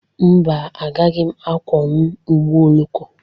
Mba, agaghị m akwọnwu ụgbọ oloko.